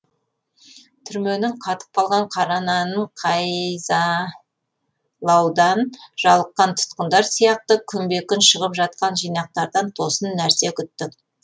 түрменің қатып қалған қара нанын қайзалаудан жалыққан тұтқындар сияқты күнбе күн шығып жатқан жинақтардан тосын нәрселер күттік